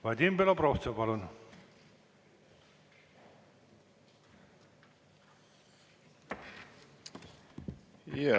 Vadim Belobrovtsev, palun!